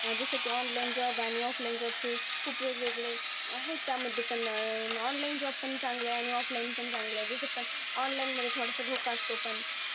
जसं की online job आणि offline job चे खुप वेगवेगळे आहेत त्यामध्ये पण अं online job पण चांगलं आहे आणि offline पण चांगलं आहे. जसं पण online मध्ये थोडंसं धोका असतो पण